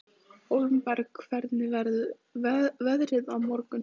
Hólmbert, hvernig verður veðrið á morgun?